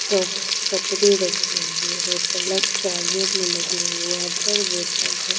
कह कपड़े रखे हुए हैं प्लक चार्जर में लगे हुए वाटर बोतल है।